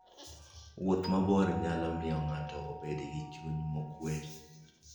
Wuoth mabor nyalo miyo ng'ato obed gi chuny mokuwe.